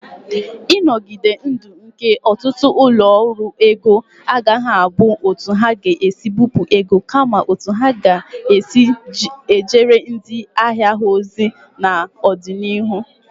Ịnogide ndụ nke ọtụtụ ụlọ ọrụ ego agaghị abụ otu ha si ebipụ ego, kama otu ha si ejere ndị ahịa ha ozi n'ọdịnihu.